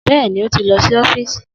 Bẹ́ẹ̀ni, ó ti lọ sí ọ́fíìsì